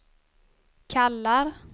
kallar